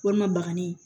Walima bagani